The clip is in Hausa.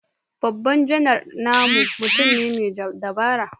Babban Janar namu mutum ne mai dabara